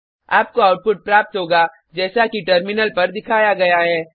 आपको आउटपुट प्राप्त होगा जैसा कि टर्मिनल पर दिखाया गया है